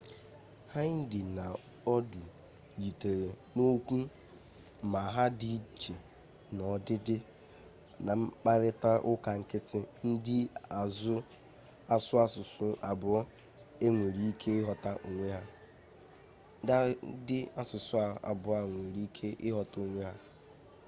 hindi na urdu yitere na okwu ma ha di iche n'odide na mkparita uka nkiti ndi asu asusu abuo a nwere ike ighota onwe ha